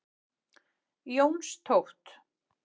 Jónstótt